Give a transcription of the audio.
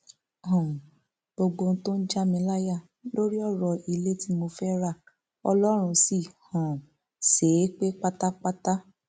um gbogbo ohun tó ń já mi láyà lórí ọrọ ilé tí mo fẹẹ ra ọlọrun sì um ṣe é pé pátápátá